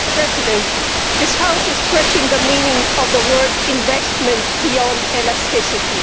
Madam President, this House is stretching the meaning of the word investment' beyond elasticity.